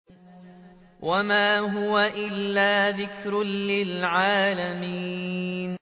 وَمَا هُوَ إِلَّا ذِكْرٌ لِّلْعَالَمِينَ